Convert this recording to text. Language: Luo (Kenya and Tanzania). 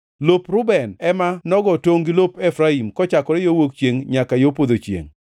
Lop Reuben ema nogo tongʼ gi lop Efraim, kochakore yo wuok chiengʼ nyaka yo podho chiengʼ.